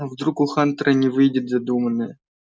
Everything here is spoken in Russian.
а вдруг у хантера не выйдет задуманное